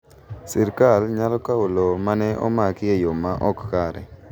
Sirkal nyalo kawo lowo ma ne omaki e yo ma ok kare.